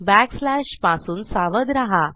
back slashपासून सावध रहा